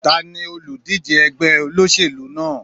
Tani olùdíje ẹgbẹ́ olóṣèlú náà?